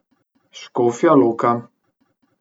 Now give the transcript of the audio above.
Škofja Loka.